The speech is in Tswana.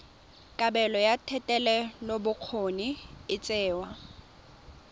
kabelo ya thetelelobokgoni e tsewa